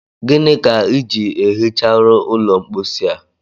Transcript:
Gịnị ka iji ehicharụ ụlọ mposi a